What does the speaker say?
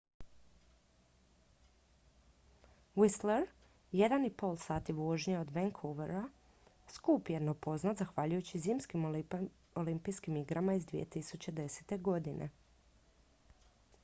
whistler 1,5 sati vožnje od vancouvera skup je no poznat zahvaljujući zimskim olimpijskim igrama iz 2010